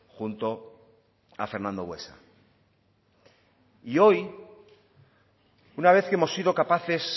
junto a fernando buesa y hoy una vez que hemos sido capaces